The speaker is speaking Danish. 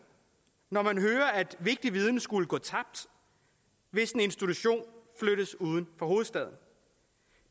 når man hører at vigtig viden skulle gå tabt hvis en institution flyttes uden for hovedstaden